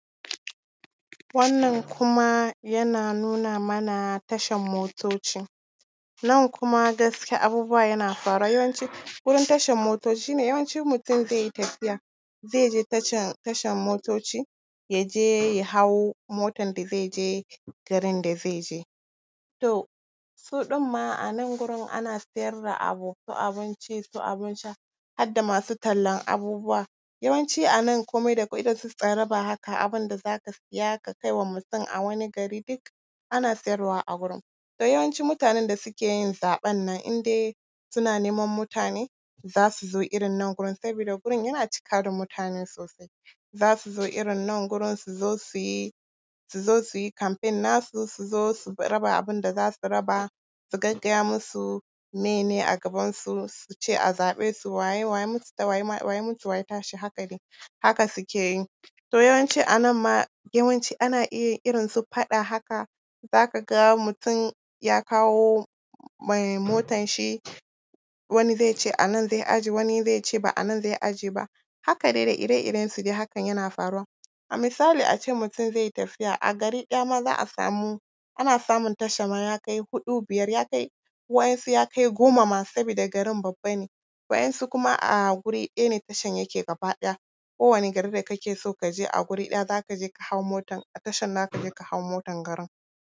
Wannan kuma yana nuna mana tashan motoci. Nan kuma gaskiya abubuwa yana faruwa, yawanci gurin tashan motoci shi ne yawanci in mutum zai yi tafiya zai je tashan motoci, ya je ya hau motan da zai je garin da zai je. To, su ɗin ma a nan gurin siyar da abu: su abinci, su abin sha, har da masu tallan abubuwa. Yawanci a nan kuma dakwai irin su tsaraba haka, abin da za ka siya ka kai wa mutum a wani gari, duk ana siyarwa a gurin. To yawanci mutanen da suke yin zaɓen nan, in dai suna neman mutane, za su zo irin nan gurin sabida gurin yana cika da mutane sosai. Za su zo irin nan gurin, su zo su yi, su zo su yi campaign nasu, su zo su raba abin da za su raba, su gaggaya musu meye ne a gabansu, su ce a zaɓe su, wa ya muta, wa ya tashi, haka dai, haka suke yi. To yawanci a nan ma, yawanci ana iya irin su faɗa haka, za ka ga mutum ya kawo mai motanshi, wani zai ce a nan zai ajiye, wani zai ce ba a nan zai ajiye ba, haka dai da ire-irensu dai hakan yana faruwa. A misali, a ce mutum zai yi tafiya, a gari ɗaya ma za a samu, ana samun tasha ma ya kai huɗu, biyar, ya kai, waɗansu ya kai goma ma, sabida garin babba ne. Waɗansu kuma a guri ɗaya ne tashan yake gaba ɗaya. Kowane gari da kake so ka je, a guri ɗaya za ka je ka hau motan, a tashan za ka je ka hau motan garin.